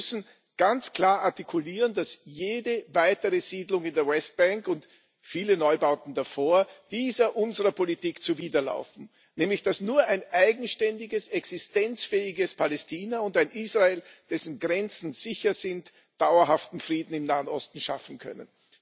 Wir müssen ganz klar artikulieren, dass jede weitere Siedlung in der Westbank und viele Neubauten davor dieser unserer Politik zuwiderlaufen, nämlich dass nur ein eigenständiges, existenzfähiges Palästina und ein Israel, dessen Grenzen sicher sind, dauerhaften Frieden im Nahen Osten schaffen können.